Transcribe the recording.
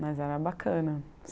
Mas era bacana.